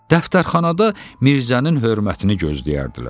Dəftərxanada Mirzənin hörmətini gözləyərdilər.